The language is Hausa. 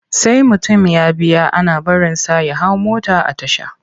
Sai mutum ya biya ake barinsa ya hau mota a tasha.